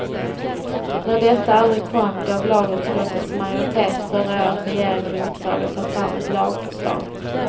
När detta aldrig kom gav lagutskottets majoritet förra året regeringen i uppdrag att ta fram ett lagförslag.